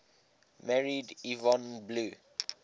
married yvonne blue